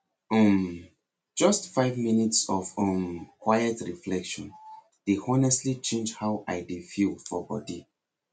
um just five minutes of um quiet reflection dey honestly change how i dey feel for body